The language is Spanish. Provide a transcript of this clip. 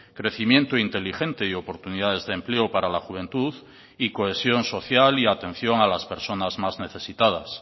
crecimiento inteligente y oportunidades de empleo para la juventud y cohesión social y atención a las personas más necesitadas